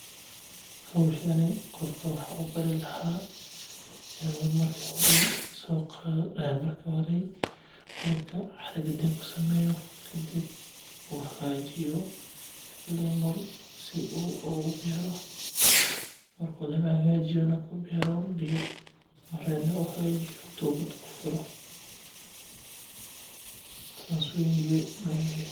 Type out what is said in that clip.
Howhsani qofka waxaan ubari lahaa inu marka hore dulka cara gadin kusameeyo kadib uu sameeyo lemal kadib uu beero kadib uu tubad kufuro saas waye.